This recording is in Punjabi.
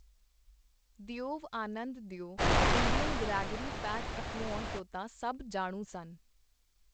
Dev Anand the Indian Gregory Peck ਅਖਵਾਉਣ ਤੋਂ ਤਾਂ ਸਭ ਜਾਣੂ ਸਨ.